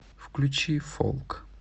включи фолк